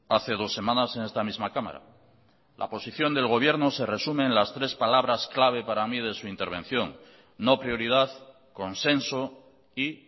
hace dos semanas en esta misma cámara la posición del gobierno se resume en las tres palabras claves para mí de su intervención no prioridad consenso y